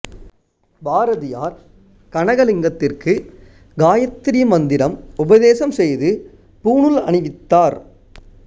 பாரதியார் கனகலிங்கத்திற்கு காயத்திரி மந்திரம் உபதேசம் செய்து பூணூல் அணிவித்தார்